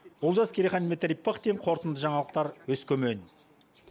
олжас керейхан дмитрий пыхтин қорытынды жаңалықтар өскемен